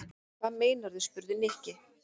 Hvað meinarðu? spurði Nikki.